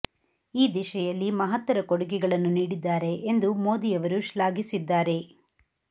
ಈ ದಿಶೆಯಲ್ಲಿ ಮಹತ್ತರ ಕೊಡುಗೆಗಳನ್ನು ನೀಡಿದ್ದಾರೆ ಎಂದು ಮೋದಿ ಅವರು ಶ್ಲಾಘಿಸಿದ್ದಾರೆ